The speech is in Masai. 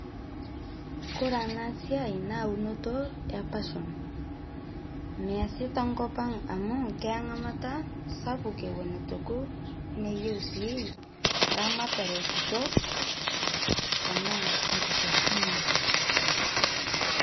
kore ana siai naa unoto epasion measi tenkopang amu keya ngamata sapuk ewon etuu ekuu neyeu sii ramataree kitok tanaa nkisosonio